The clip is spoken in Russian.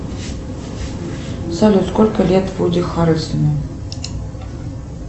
салют сколько лет вуди харрельсону